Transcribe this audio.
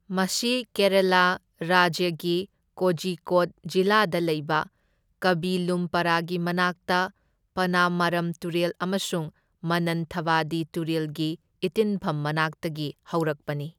ꯃꯁꯤ ꯀꯦꯔꯥꯂꯥ ꯔꯥꯖ꯭ꯌꯒꯤ ꯀꯣꯓꯤꯀꯣꯗ ꯖꯤꯂꯥꯗ ꯂꯩꯕ ꯀꯥꯕꯤꯂꯨꯝꯄꯔꯥꯒꯤ ꯃꯅꯥꯛꯇ ꯄꯅꯃꯥꯔꯝ ꯇꯨꯔꯦꯜ ꯑꯃꯁꯨꯡ ꯃꯅꯟꯊꯥꯕꯥꯗꯤ ꯇꯨꯔꯦꯜꯒꯤ ꯏꯇꯤꯟꯐꯝ ꯃꯅꯥꯛꯇꯒꯤ ꯍꯧꯔꯛꯄꯅꯤ꯫